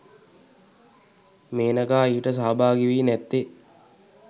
මේනකා ඊට සහභාගිවී නැත්තේ